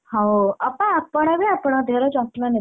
ହଉ ଅପା ଆପଣବି ଆପଣଙ୍କ ଦେହର ଯତ୍ନ ନେବେ।